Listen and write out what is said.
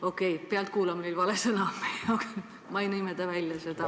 Okei, "pealtkuulamine" oli vale sõna, ma ei nimeta seda.